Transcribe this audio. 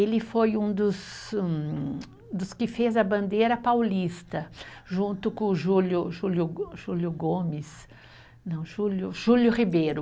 Ele foi um dos hum, dos que fez a bandeira paulista, junto com o Júlio, Júlio Go, Júlio Gomes, não, Júlio, Júlio Ribeiro.